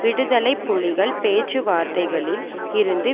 விடுதலை புலிகள் பேச்சுவார்த்தைகளில் இருந்து